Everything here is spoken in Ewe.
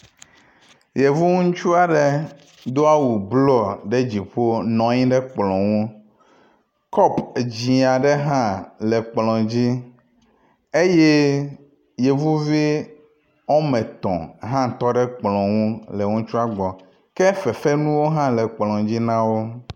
Yevu ŋutsu aɖe do awu blɔ ɖe dziƒo nɔ anyi ɖe kplɔ ŋu. Kɔpu dzi aɖe hã le kplɔa dzi eye yevuvi wɔme etɔ̃ hã tɔ ɖe kplɔa ŋu le ŋutsua gbɔ ke fefenuwo hã le kplɔ dzi na wo.